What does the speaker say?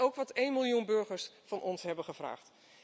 Dat is ook wat één miljoen burgers van ons hebben gevraagd.